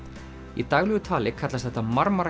í daglegu tali kallast þetta